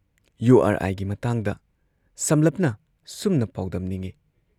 ꯌꯨꯨ ꯑꯥꯔ ꯑꯥꯏꯒꯤ ꯃꯇꯥꯡꯗ ꯁꯝꯂꯞꯅ ꯁꯨꯝꯅ ꯄꯥꯎꯗꯝꯅꯤꯡꯏ